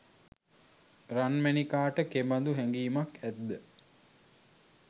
රන්මැණිකාට කෙබදු හැගීමක් ඇත්ද?